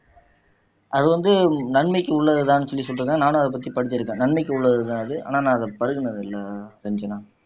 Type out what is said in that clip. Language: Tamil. அது வந்து நன்மைக்கு உள்ளதுதான்னு சொல்லி சொல்லிட்டு இருந்தாங்க நானும் அதைப் பத்தி படிச்சிருக்கேன் நன்மைக்கு உள்ளதுதான் ஆனா நான் பருகனது இல்லை ரஞ்சனா